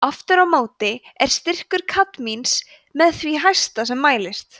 aftur á móti er styrkur kadmíns með því hæsta sem mælist